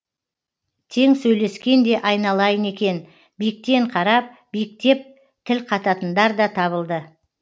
тең сөйлескен де айналайын екен биіктен қарап биіктеп тіл қататындар да табылды